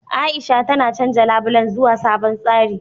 A'isha tana canja labulen zuwa sabon tsari.